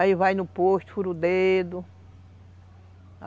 Aí vai no posto, fura o dedo.